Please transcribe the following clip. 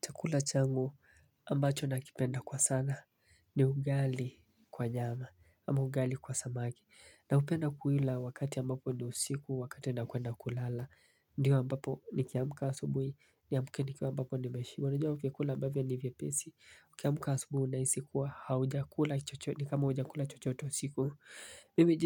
Chakula changu ambacho nakipenda kwa sana ni ugali kwa nyama, ama ugali kwa samaki. Naupenda kuila wakati ambapo ni usiku, wakati nakwenda kulala. Ndiyo ambapo nikiamka asubuhi, niamke nikiwa ambapo nimeshiba. Unajua ukikula ambavyo ni viepesi. Ukiamka asubuhi unahisi kuwa haujakula chochote, ni kama haujakula chochote usiku. Mimi